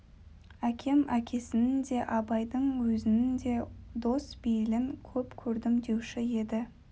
әкем әкесінің де абайдың өзінің де дос бейілін көп көрдім деуші еді